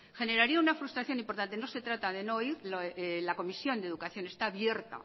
generaría una frustración importante no se trata de no ir la comisión de educación está abierta